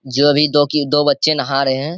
जो भी दो की दो बच्चे नहा रहें हैं।